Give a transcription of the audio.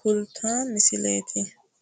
kultanmo misileeti.